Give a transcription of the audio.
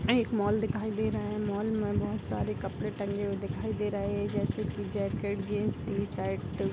यह एक मॉल दिखाई दे रहा है मॉल में बहुत सारे कपड़े टंगे हुए दिखाई दे रहा है जैसे की जैकेट जीन्स टी-शर्ट ।